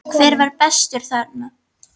Hver var bestur þarna?